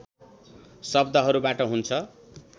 शब्दहरूबाट हुन्छ